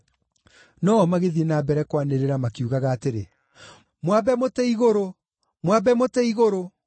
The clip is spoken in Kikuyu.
No-o magĩthiĩ na mbere kwanĩrĩra, makiugaga atĩrĩ, “Mwambe mũtĩ-igũrũ! Mwambe mũtĩ-igũrũ!”